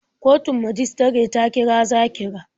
Kotun majistare ta kira Zakira.